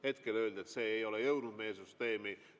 Hetkel öeldi, et see ei ole jõudnud meie süsteemi.